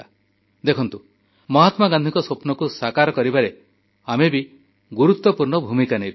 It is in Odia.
ଦେଖନ୍ତୁ ମହାତ୍ମାଗାନ୍ଧୀଙ୍କ ସ୍ୱପ୍ନକୁ ସାକାର କରିବାରେ ଆମେ ବି ଗୁରୁତ୍ୱପୂର୍ଣ୍ଣ ଭୂମିକା ନେଇପାରିବା